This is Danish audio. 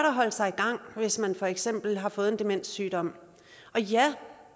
at holde sig i gang hvis man for eksempel har fået en demenssygdom og ja